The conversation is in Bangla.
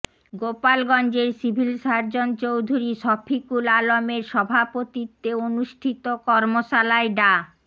গোপালগঞ্জের সিভিল সার্জন চৌধুরী শফিকুল আলমের সভাপতিত্বে অনুষ্ঠিত কর্মশালায় ডা